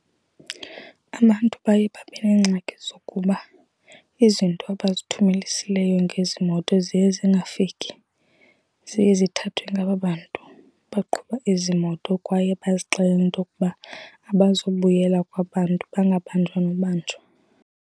Abantu baye babe neengxaki zokuba izinto abazithumelisileyo ngezi moto ziye zingafiki. Ziye zithathwe ngaba bantu baqhuba ezi moto kwaye bazixelele intokuba abazubuyela kwaba 'ntu, bangabanjwa nobanjwa.